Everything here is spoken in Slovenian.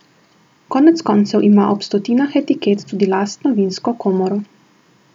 Konec koncev ima ob stotinah etiket tudi lastno vinsko komoro.